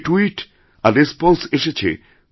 যে ট্যুইট আররেসপন্স এসেছে